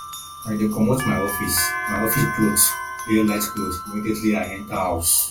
i dey comot my office my office cloth wear light cloth immediately i enta house